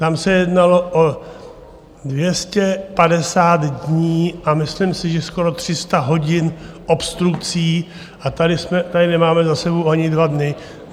Tam se jednalo o 250 dní a myslím si, že skoro 300 hodin obstrukcí, a tady nemáme za sebou ani dva dny.